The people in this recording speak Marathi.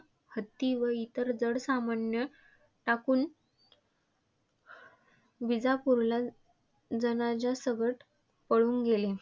हत्ती व इतर जड सामान टाकून विजापूरला जनाना सकट पळून गेले.